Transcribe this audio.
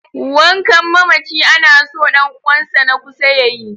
Wankan mamaci ana so ɗan uwansa na kusa ya yi.